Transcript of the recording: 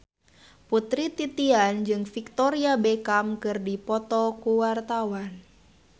Putri Titian jeung Victoria Beckham keur dipoto ku wartawan